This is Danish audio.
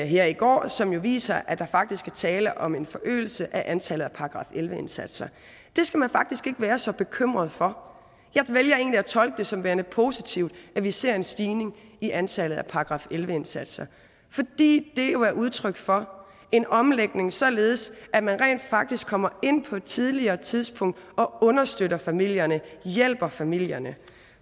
her i går som viser at der faktisk er tale om en forøgelse af antallet af § elleve indsatser det skal man faktisk ikke være så bekymret for jeg vælger egentlig at tolke det som værende positivt at vi ser en stigning i antallet af § elleve indsatser fordi det jo er udtryk for en omlægning således at man rent faktisk kommer ind på et tidligere tidspunkt og understøtter familierne og hjælper familierne